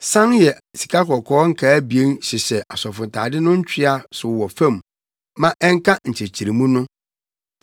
San yɛ sikakɔkɔɔ nkaa abien hyehyɛ asɔfotade no ntwea so wɔ fam ma ɛnka nkyekyeremu no.